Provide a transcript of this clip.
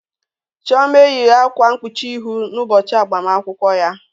Chioma eyighị akwa mkpuchi ihu n'ụbọchị agbamakwụkwọ ya.